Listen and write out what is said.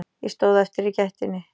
Ég stóð eftir í gættinni.